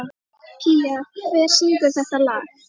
Pía, hver syngur þetta lag?